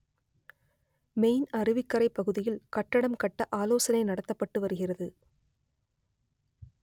main அருவிக்கரை பகுதியில் க‌ட்டட‌ம் க‌ட்ட ஆலோசனை நடத்தப்பட்டு வருகிறது